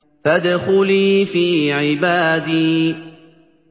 فَادْخُلِي فِي عِبَادِي